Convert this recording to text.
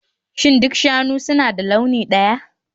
Shin duk shanu suna da launi ɗaya?